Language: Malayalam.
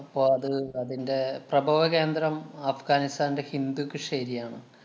അപ്പൊ അത് അതിന്‍റെ പ്രഭവകേന്ദ്രം അഫ്ഗാനിസ്ഥാന്‍റെ ഹിന്ദുകുഷ് area യാണ്.